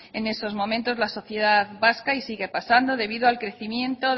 en esos momentos la sociedad vasca y sigue pasando debido al crecimiento